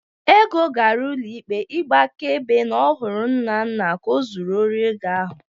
Ego gara ụlọ ikpe ịgba akaebe na ọ hụrụ Nnanna ka ọ zuru osi ego ahụ.